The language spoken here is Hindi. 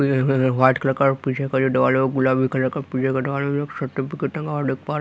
देखो इधर वाइट कलर का और पीछे का जो दीवार है वो गुलाबी कलर का पीछे का दरवाजा है देख सकते हैं --